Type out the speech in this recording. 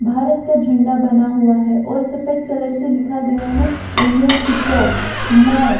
भारत का झंडा बना हुआ है और सफेद कलर से लिखा गया हैं इंडियन पीकॉक मोर--